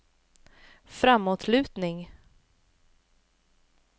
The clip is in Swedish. framåtlutning